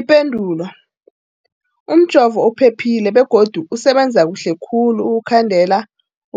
Ipendulo, umjovo uphephile begodu usebenza kuhle khulu ukukhandela